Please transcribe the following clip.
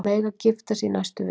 Mega gifta sig í næstu viku